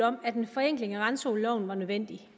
om at en forenkling af randzoneloven er nødvendig